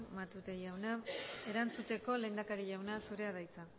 matute jauna erantzuteko lehendakari jauna zurea da hitza